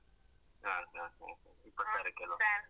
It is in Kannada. ಹಾ ಹಾ ಹಾ ಹಾ ಇಪ್ಪತ್ತಾರಕ್ಕೆ ಅಲ್ಲ.